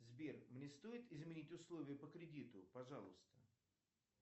сбер мне стоит изменить условия по кредиту пожалуйста